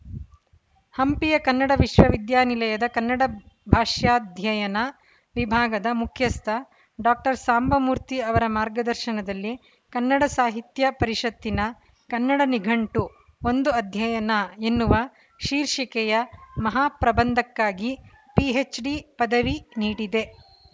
ಹಂಪಿಯ ಕನ್ನಡ ವಿಶ್ವವಿದ್ಯಾಲಯದ ಕನ್ನಡ ಭಾಷಾಧ್ಯಯನ ವಿಭಾಗದ ಮುಖ್ಯಸ್ಥ ಡಾಕ್ಟರ್ ಸಾಂಬಮೂರ್ತಿ ಅವರ ಮಾರ್ಗದರ್ಶನದಲ್ಲಿ ಕನ್ನಡ ಸಾಹಿತ್ಯ ಪರಿಷತ್ತಿನ ಕನ್ನಡ ನಿಘಂಟು ಒಂದು ಅಧ್ಯಯನ ಎನ್ನುವ ಶೀರ್ಷಿಕೆಯ ಮಹಾಪ್ರಬಂಧಕ್ಕಾಗಿ ಪಿಎಚ್‌ಡಿ ಪದವಿ ನೀಡಿದೆ